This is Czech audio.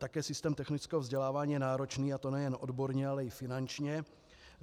Také systém technického vzdělávání je náročný, a to nejen odborně, ale i finančně.